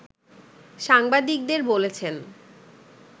সাংবাদিকদের বলেছেন